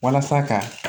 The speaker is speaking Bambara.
Walasa ka